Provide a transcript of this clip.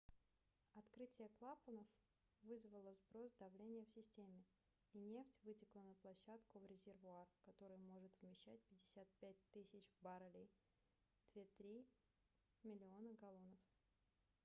открытие клапанов вызвало сброс давления в системе и нефть вытекла на площадку в резервуар который может вмещать 55 000 баррелей 2,3 миллиона галлонов